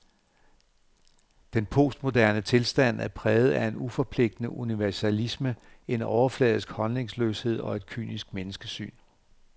Den postmoderne tilstand er præget af en uforpligtende universalisme, en overfladisk holdningsløshed og et kynisk menneskesyn.